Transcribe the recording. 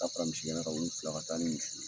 A ka taa fara misi gɛna kan olu fila ka taa ni misiw ye.